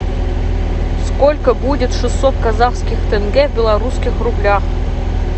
сколько будет шестьсот казахских тенге в белорусских рублях